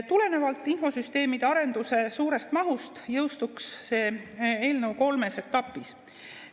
Tulenevalt infosüsteemide arenduse suurest mahust jõustuks see eelnõu kolmes etapis.